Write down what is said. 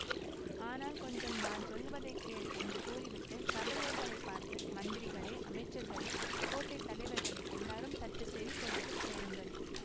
ஆனால் கொஞ்சம் நான் சொல்லுவதைக் கேள் என்று கூறிவிட்டு சபையோர்களைப் பார்த்து மந்திரிகளே அமைச்சர்களே கோட்டை தலைவர்களே எல்லாரும் சற்று செவி கொடுத்து கேளுங்கள்